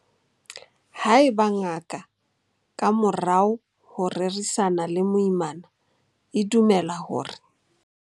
Haeba ngaka, ka morao ho ho rerisana le moimana, e dumela hore.